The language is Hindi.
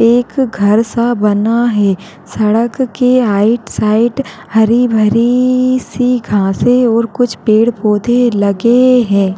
एक घर सा बना है। सड़क के आइट साइक हरी भरी सी घासें और कुछ पेड़-पौधे लगे हैं।